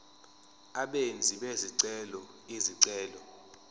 abenzi bezicelo izicelo